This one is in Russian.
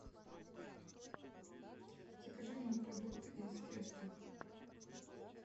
закажи мне продукты из теста